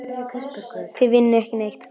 Eða þá hann byrjaði á hinum endanum.